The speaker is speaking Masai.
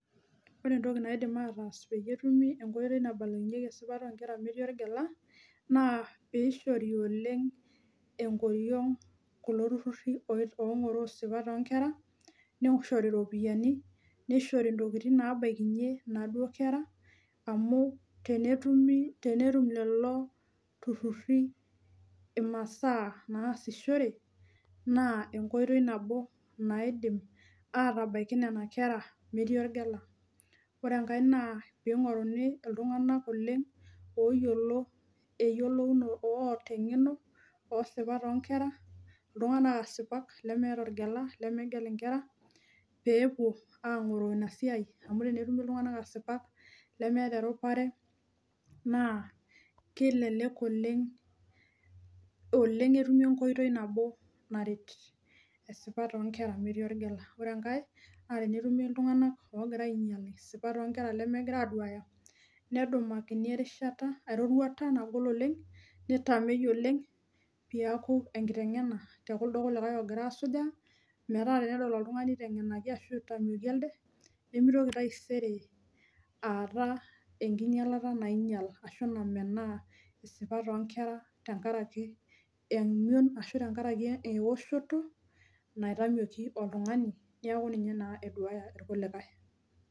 Ore entoki naidim ataasa peyie etumi enkoito naibalunyieki esipata onkera metii orgela naa pishori oleng enkoriong kulo tururi ongoroo isipat onkera , nishori ropiyiani, nishori ntokitin nabakinyie inaduo kera amu tenetumi, tenetum lelo imasaa naasishore naa enkoitoi nabo naidim atabaiki nena kera metii orgela , ore enkae naa pingoruni iltunganak oleng oyiolo eyiolounoto oota engeno osipat onkera iltunganak asipak lemeeta orgela, lemegel inkera peepuo angoroo ina siai amu tenetumi iltunganak asipak lemeeta erupare naa kilelek oleng, oleng etumi enkoitoi nabo naret esipata onkera metii orgela. Ore enkae naa tenetumi iltunganak logira ainyial isipat onkera lemegira aduaya nedumakini erishata, eroruata nagol oleng, nitamei oleng piaku enkitengena tekuldo kulikae ogira asujaa , metaa tenedol oltungani itengenaki ashu itameiki elde nemitoki taisere aata enkinyialata nainyial ashu namenaa isipat onkera tenkaraki emion ashu tenkaraki eoshoto naitamioki oltungani niaku ninye naa eduaya irkulikae.